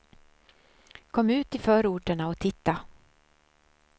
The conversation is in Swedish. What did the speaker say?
Kom ut i förorterna och titta.